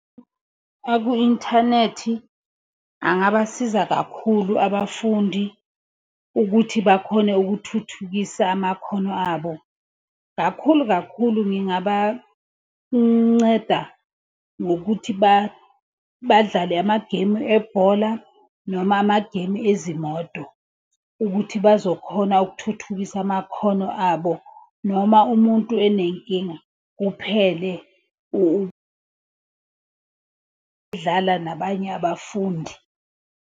Aku inthanethi angabasiza kakhulu abafundi ukuthi bakhone ukuthuthukisa amakhono abo kakhulu kakhulu. Ngingabanceda ngokuthi badlale amagemu ebhola noma amagemu ezimoto. Ukuthi bazokhona ukuthuthukisa amakhono abo, noma umuntu enenkinga, kuphele ukudlala nabanye abafundi.